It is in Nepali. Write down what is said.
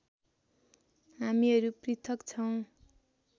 हामीहरू पृथक छौँ